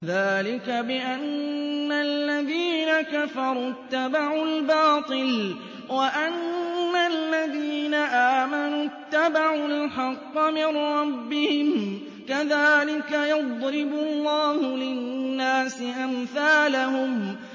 ذَٰلِكَ بِأَنَّ الَّذِينَ كَفَرُوا اتَّبَعُوا الْبَاطِلَ وَأَنَّ الَّذِينَ آمَنُوا اتَّبَعُوا الْحَقَّ مِن رَّبِّهِمْ ۚ كَذَٰلِكَ يَضْرِبُ اللَّهُ لِلنَّاسِ أَمْثَالَهُمْ